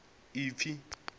a pfe a si na